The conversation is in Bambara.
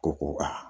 Ko ko a